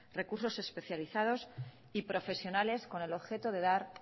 recursos especializados y profesionales con el objeto de dar